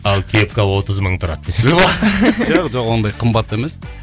ал кепка отыз мың тұрады десең жоқ жоқ ондай қымбат емес